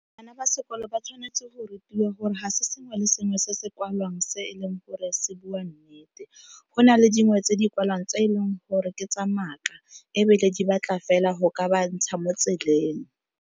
Bana ba sekolo ba tshwanetse go rutiwa gore ga se sengwe le sengwe se se kwalwang se e leng gore se bua nnete. Go na le dingwe tse di kwalwang tse e leng gore ke tsa maaka ebile di batla fela go ka ba ntsha mo tseleng.